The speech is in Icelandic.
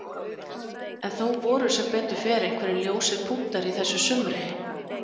En þó voru sem betur fer einhverjir ljósir punktar í þessu sumri.